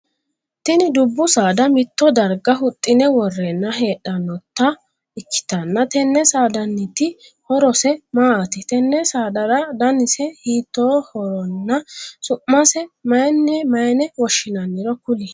Tinni dubu saada mito darga huxine woreenna hedhanota ikitanna tenne saadanniti horose maati? Tenne saadara dannise hiittoohoronna su'mase mayinne woshinnanniro kuli?